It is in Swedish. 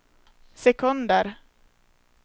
sekunder